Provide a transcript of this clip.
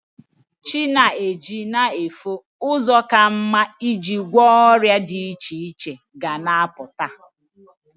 Chi na-eji na-efo, ụzọ ka mma i ji gwọ ọrịa dị iche iche ga na-apụta.